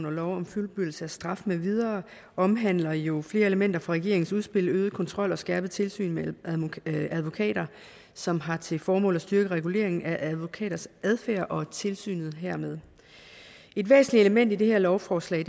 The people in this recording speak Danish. og lov om fuldbyrdelse af straf med videre omhandler jo flere elementer fra regeringens udspil om øget kontrol og skærpet tilsyn med advokater som har til formål at styrke reguleringen af advokaters adfærd og tilsynet hermed et væsentligt element i det her lovforslag